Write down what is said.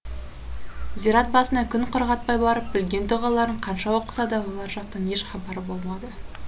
зират басына күн құрғатпай барып білген дұғаларын қанша оқыса да олар жақтан еш хабар болмады